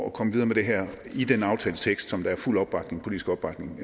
at komme videre med det her i den aftaletekst som der er fuld politisk opbakning